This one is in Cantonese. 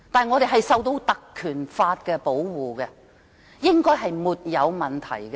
我們受到《立法會條例》保護，應該是沒有問題的。